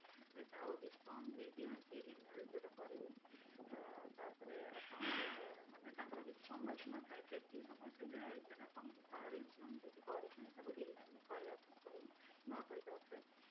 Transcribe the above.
ଆଉ discount ବି ଦିଅନ୍ତି renewal ଯୋଉଟା କରିବେ ଅ ତାପରେ ଆପଣ ସେଇଟା ମାନେ ତାଙ୍କର କିଛି ସମୟ ସୀମା ଥାଏ ଯେମିତି ସେତିକି ସମୟ ଭିତରେ ତମକୁ car insurance କରିଥାଏ ତାକୁ renew କରିବା ପାଇଁ ପଡିବ ନୂଆ କରିକି ଆଉ ଥରେ